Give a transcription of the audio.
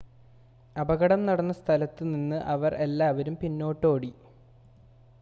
അപകടം നടന്ന സ്ഥലത്ത് നിന്ന് അവർ എല്ലാവരും പിന്നോട്ട് ഓടി